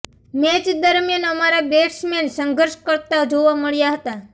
match દરમિયાન અમારા batsmen સંઘર્ષ કરતા જોવા મળ્યા હતા